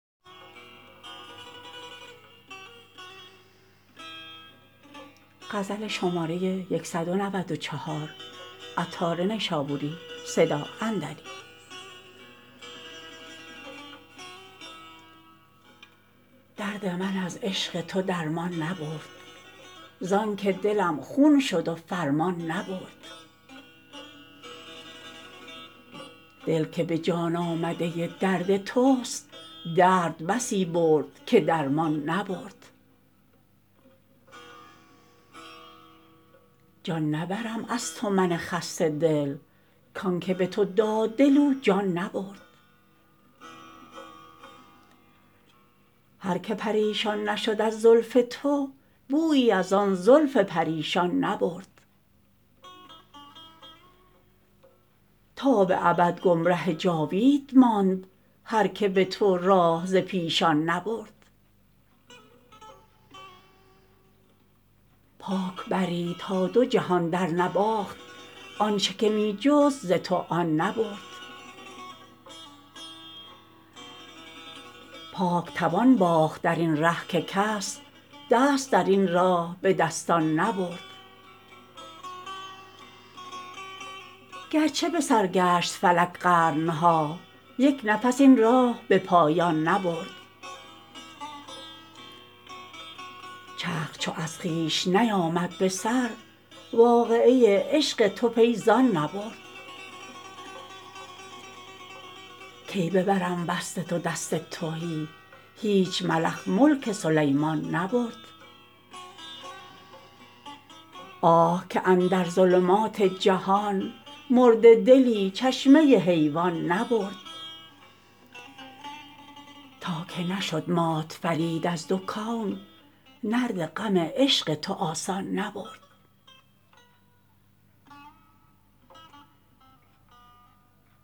درد من از عشق تو درمان نبرد زانکه دلم خون شد و فرمان نبرد دل که به جان آمده درد توست درد بسی برد که درمان نبرد جان نبرم از تو من خسته دل کانکه به تو داد دل او جان نبرد هر که پریشان نشد از زلف تو بویی از آن زلف پریشان نبرد تا به ابد گمره جاوید ماند هر که به تو راه ز پیشان نبرد پاک بری تا دو جهان در نباخت آنچه که می جست ز تو آن نبرد پاک توان باخت درین ره که کس دست درین راه به دستان نبرد گرچه به سر گشت فلک قرن ها یک نفس این راه به پایان نبرد چرخ چو از خویش نیامد به سر واقعه عشق تو پی زان نبرد کی ببرم وصل تو دست تهی هیچ ملخ ملک سلیمان نبرد آه که اندر ظلمات جهان مرده دلی چشمه حیوان نبرد تا که نشد مات فرید از دو کون نرد غم عشق تو آسان نبرد